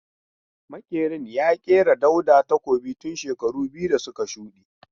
Makerin ya kera Dauda takobin tun shekaru biyu da suka shude.